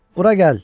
Bura gəl!